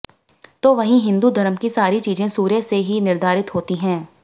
तो वहीं हिंदू धर्म की सारी चीजें सूर्य से ही निर्धारित होती हैं